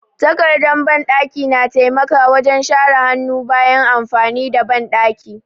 Takardar banɗaki na taimaka wajen share hannu bayan amfani da banɗaki.